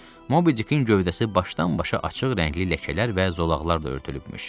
Mobi-Dikin gövdəsi başdan-başa açıq rəngli ləkələr və zolaqlarla örtülübmüş.